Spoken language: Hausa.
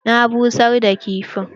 Na busar da kifin.